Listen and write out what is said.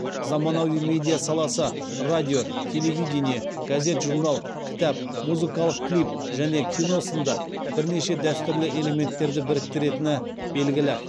заманауи медиа саласы радио телевидение газет журнал кітап музыкалық клип және кино сынды бірнеше дәстүрлі элементтерді біріктіретіні белгілі